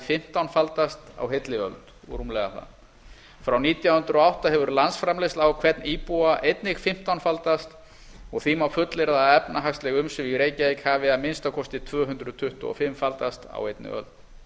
fimmtánfaldast á heilli öld og rúmlega það frá nítján hundruð og átta hefur landsframleiðsla á hvern íbúa einnig fimmtánfaldast og því má fullyrða að efnahagsleg umsvif í reykjavík hafi að minnsta kosti tvö hundruð tuttugu og fimm faldast á einni öld